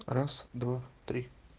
раз два три